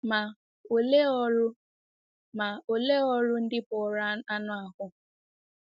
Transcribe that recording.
Ma, olee ọrụ Ma, olee ọrụ ndị bụ́ ọrụ anụ ahụ́?